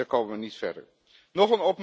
En daar komen we niet verder